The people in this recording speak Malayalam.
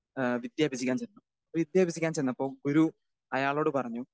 സ്പീക്കർ 2 ഏഹ് വിദ്യ അഭ്യസിക്കാൻ ചെന്നു. വിദ്യാഭ്യാസിക്കാൻ ചെന്നപ്പോ ഗുരു അയാളോട് പറഞ്ഞു.